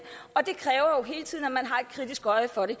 og det kræver at man hele tiden har et kritisk øje for det